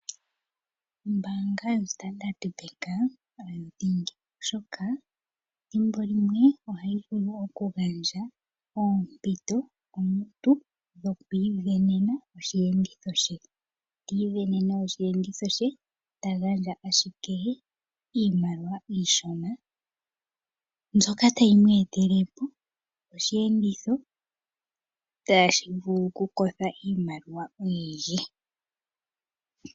Ombaanga yoStandard Bank oyo dhingi, oshoka thimbo limwe ohayi vulu wo okugandja oompito komuntu dhokwiisindanena osheenditho she. Ti isindanene osheenditho she, ta gandja ashike iimaliwa iishona mbyoka tayi mu etele po osheenditho tashi vulu kukotha iimaliwa oyindji.